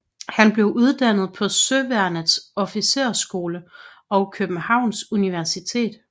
Han blev uddannet på Søværnets Officersskole og Københavns Universitet